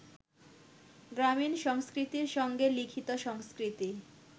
গ্রামীণ সংস্কৃতির সঙ্গে লিখিত সংস্কৃতি